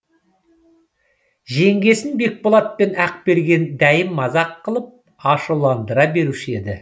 жеңгесін бекболат пен ақберген дәйім мазақ қылып ашуландыра беруші еді